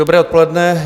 Dobré odpoledne.